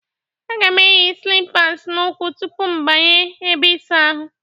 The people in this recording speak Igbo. Aga m eyi slịpas n'ụkwụ tupu m banye ebe ịsa ahụ.